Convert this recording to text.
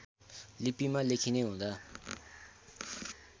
लिपिमा लेखिने हुँदा